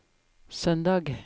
søndag